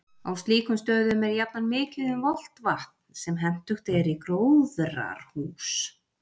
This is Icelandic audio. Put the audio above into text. Á slíkum stöðum er jafnan mikið um volgt vatn, sem hentugt er í gróðrarhús.